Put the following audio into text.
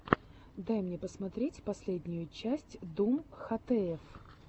дай мне посмотреть последнюю часть дум хтф